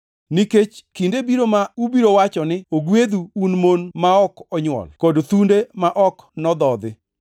Nikech kinde biro ma ubiro wacho ni, ‘Ogwedhu, un mon ma ok onywol kod thunde ma ok nodhodhi!’